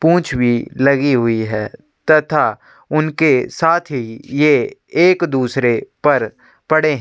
पूंछ भी लगी हुई है तथा उनके साथ ही ये एक दूसरे पर पड़े है।